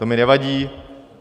To mi nevadí.